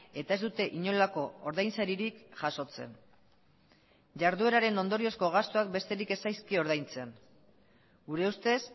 eta ez dute inolako ordainsaririk jasotzen jardueraren ondoriozko gastuak besterik ez zaizkio ordaintzen gure ustez